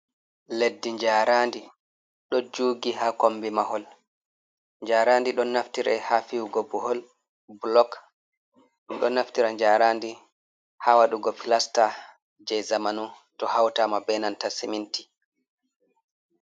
Leddi jnaaraandi ɗo juugi haa kommbi mahol, jnaaraandi ɗon naftiraa haa fihugo blok ɗo naftiraa njaaraandi haa waɗugo plasta jei zamanu to hautaa ma bee nanta siminti.